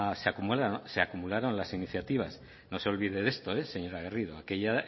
se acumularon las iniciativas no se olvide de esto eh señora garrido aquella